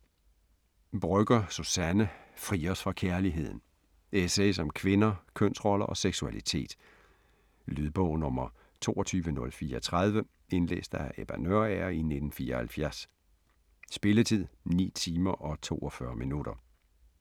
Brøgger, Suzanne: Fri os fra kærligheden Essays om kvinder, kønsroller og seksualitet. Lydbog 22034 Indlæst af Ebba Nørager, 1974. Spilletid: 9 timer, 42 minutter.